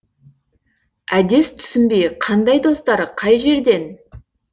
әдес түсінбей қандай достар қай жерден